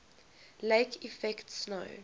lake effect snow